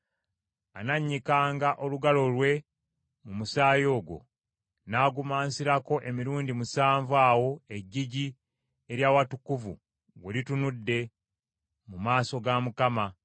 Anannyikanga olugalo lwe mu musaayi ogwo n’agumansirako emirundi musanvu awo eggigi ery’awatukuvu we litunudde mu maaso ga Mukama .